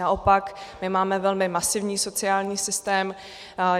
Naopak my máme velmi masivní sociální systém.